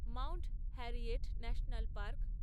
Mount Harriet National park